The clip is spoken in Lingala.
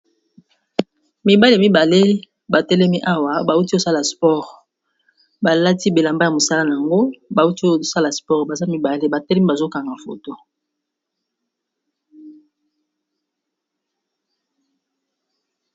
Mibale mibale batelemi awa bauti kosala sport !balati bilamba ya mosala na yango bauti oyosala sport baza mibale batelemi bazokanga foto.